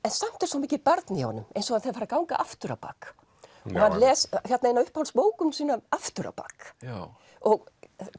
samt er svo mikið barn í honum eins og þegar hann fer að ganga aftur á bak hann les eina af uppáhaldsbókunum sínum aftur á bak og